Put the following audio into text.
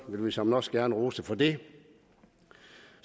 vi såmænd også gerne rose for det